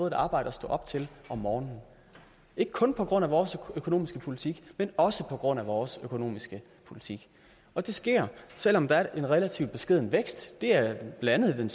et arbejde at stå op til om morgenen ikke kun på grund af vores økonomiske politik men også på grund af vores økonomiske politik og det sker selv om der er en relativt beskeden vækst der er blandt andet den